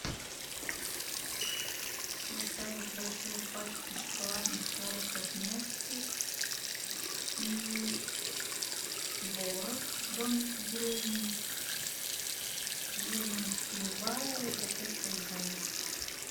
доставить большую пачку шоколадных шариков несквик и творог домик в деревне жирность любая упаковка любая